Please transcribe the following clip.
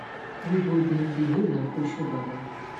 we go dem dey hail am oshobaba